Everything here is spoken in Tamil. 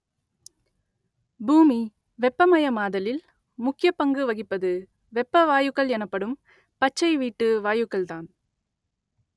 பூமி வெப்பமயமாதலில் முக்கிய பங்கு வகிப்பது வெப்ப வாயுக்கள் எனப்படும் பச்சை வீட்டு வாயுக்கள்தான்